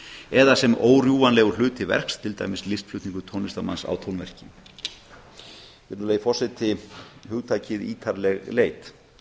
eða sem órjúfanlegur hluti verks til dæmis listflutningur tónlistarmanns á tónverki virðulegi forseti hugtakið ítarleg leit